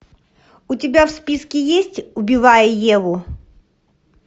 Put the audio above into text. у тебя в списке есть убивая еву